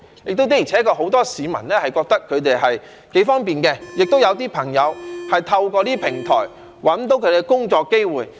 再者，的而且確很多市民認為這是挺方便的，也有一些朋友透過這些平台找到他們的工作機會。